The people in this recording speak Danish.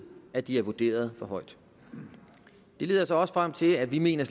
at de er vurderet for højt det leder os også frem til at vi mener